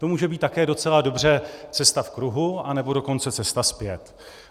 To může být také docela dobře cesta v kruhu, anebo dokonce cesta zpět.